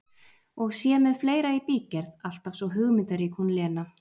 Og sé með fleira í bígerð, alltaf svo hugmyndarík hún Lena!